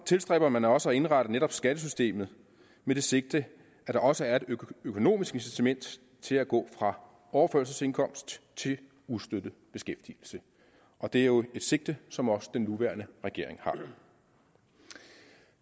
tilstræber man også at indrette netop skattesystemet med det sigte at der også er et økonomisk incitament til at gå fra overførselsindkomst til ustøttet beskæftigelse og det er jo et sigte som også den nuværende regering har